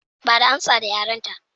Bada amsa da yarenta